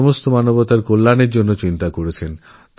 তিনি সমগ্র মানবজাতিরকল্যাণের কথা ভেবেছেন